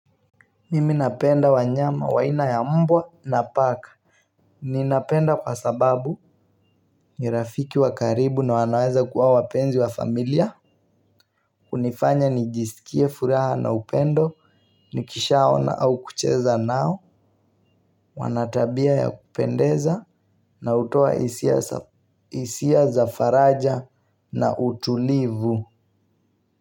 Mimi napenda wanyama waina ya mbwa na paka. Ninapenda kwa sababu nirafiki wakaribu na wanaweza kuwa wapenzi wa familia. Kunifanya nijisikie furaha na upendo nikishaona au kucheza nao wanatabia ya kupendeza na utoa hisia hisia za faraja na utulivu.